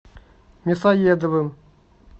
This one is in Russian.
мясоедовым